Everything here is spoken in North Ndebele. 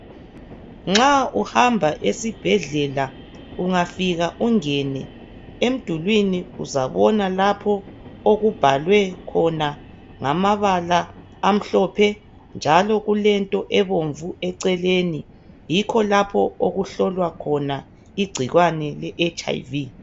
Nxa uhamba esibhedlela ungafika ungene emdulwini uzabona lapho okubhalwe khona ngamabala amhlophe njalo kulento ebomvu eceleni yikho lapho okuhlolwa khona igcikwane leHIV.